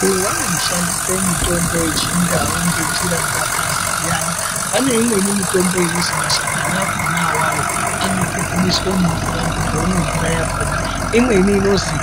Vanhu vanoshandisa mitombo yechindau ngenjira dzakasiyana. Pane imweni mitombo inozwi mashakani akhona awawo anopupumiswa mumvura muntu omwa mvura yakhona, imweni inozwi